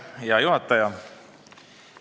Hea juhataja!